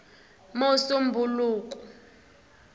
musumbhuluku